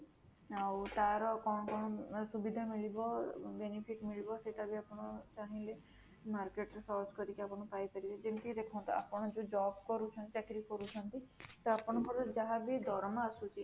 ଆଉ ତାର କଣ କଣ ସୁବିଧା ମିଳିବ benefit ମିଳିବ ସେଇଟା ବି ଆପଣ ଚାହିଁଲେ market ରେ search କରିକି ଆପଣ ପାଇଁ ପାରିବେ, ଯେମିତି କି ଦେଖନ୍ତୁ ଆପଣ ଯୋଉ job କରୁଛନ୍ତି, ଚାକିରୀ କରୁଛନ୍ତି ତ ଆପଣଙ୍କର ଯାହା ବି ଦରମା ଆସୁଛି